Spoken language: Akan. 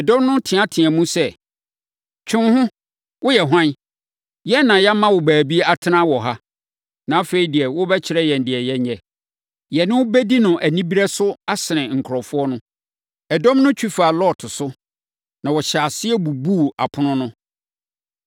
Ɛdɔm no teateaam sɛ, “Twe wo ho! Woyɛ hwan? Yɛn na yɛama wo baabi atena wɔ ha, na afei deɛ worebɛkyerɛ yɛn deɛ yɛnyɛ. Yɛne wo bɛdi no anibereɛ so asene nkurɔfoɔ no.” Ɛdɔm no twi faa Lot so, na wɔhyɛɛ aseɛ bubuu apono no.